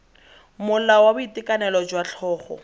molao wa boitekanelo jwa tlhogo